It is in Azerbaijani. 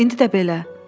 İndi də belə.